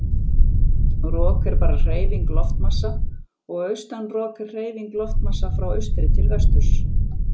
Rok er bara hreyfing loftmassa og austan rok er hreyfing loftmassa frá austri til vesturs.